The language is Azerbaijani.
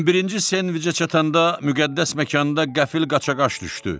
11-ci senviçə çatanda müqəddəs məkanda qəfil qaçaqaç düşdü.